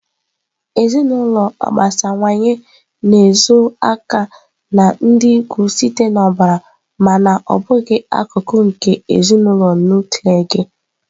Ezinụlọ agbasawanye na-ezo aka na ndị ikwu site na ọbara mana ọ bụghị akụkụ nke ezinụlọ nuklia gị.